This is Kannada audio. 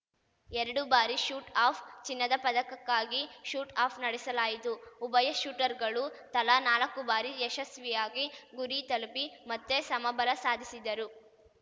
ಎರಡು ಬಾರಿ ಶೂಟ್‌ ಆಫ್‌ ಚಿನ್ನದ ಪದಕಕ್ಕಾಗಿ ಶೂಟ್‌ ಆಫ್‌ ನಡೆಸಲಾಯಿತು ಉಭಯ ಶೂಟರ್‌ಗಳು ತಲಾ ನಾಲಕ್ಕು ಬಾರಿ ಯಶಸ್ವಿಯಾಗಿ ಗುರಿ ತಲುಪಿ ಮತ್ತೆ ಸಮಬಲ ಸಾಧಿಸಿದರು